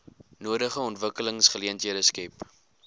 nodige ontwikkelingsgeleenthede skep